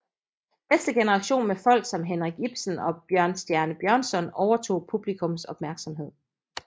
Næste generation med folk som Henrik Ibsen og Bjørnstjerne Bjørnson overtog publikums opmærksomhed